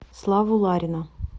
славу ларина